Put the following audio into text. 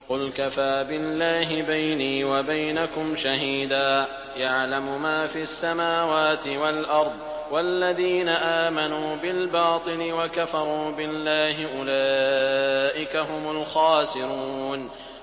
قُلْ كَفَىٰ بِاللَّهِ بَيْنِي وَبَيْنَكُمْ شَهِيدًا ۖ يَعْلَمُ مَا فِي السَّمَاوَاتِ وَالْأَرْضِ ۗ وَالَّذِينَ آمَنُوا بِالْبَاطِلِ وَكَفَرُوا بِاللَّهِ أُولَٰئِكَ هُمُ الْخَاسِرُونَ